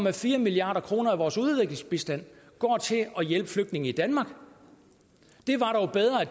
at fire milliard kroner af vores udviklingsbistand går til at hjælpe flygtninge i danmark